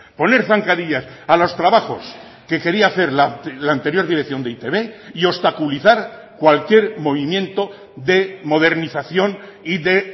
poner zancadillas a los trabajos que quería hacer la anterior dirección de e i te be y obstaculizar cualquier movimiento de modernización y de